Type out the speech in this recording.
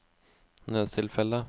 nødstilfelle